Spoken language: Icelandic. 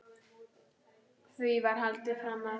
Því var haldið fram að